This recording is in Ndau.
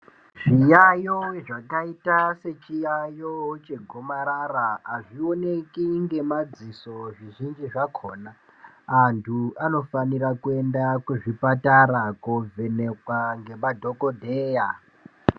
Zviyaiyo zvakaita sechiyaiyo chegomarara, azvioneki ngemadziso zvizhinji zvakhona. Antu anofanira kuenda kuzvipatara koovhenekwa ngemadhokodheya.